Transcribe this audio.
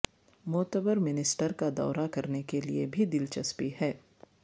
معتبر منسٹر کا دورہ کرنے کے لئے بھی دلچسپی ہے